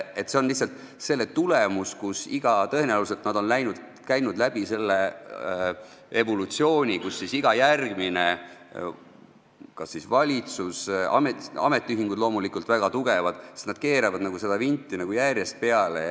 Tõenäoliselt on nad iga järgmise valitsusega selle evolutsiooni järjest läbi käinud, ka ametiühingud on loomulikult väga tugevad ja nad keeravad seda vinti järjest peale.